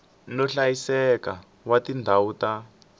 no hlayiseka wa tindhawu ta